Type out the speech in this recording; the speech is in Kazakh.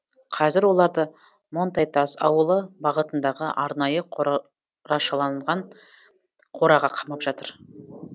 қазір оларды монтайтас ауылы бағытындағы арнайы қорашалған қораға қамап жатыр